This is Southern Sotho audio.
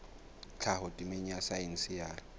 tlhaho temeng ya saense ya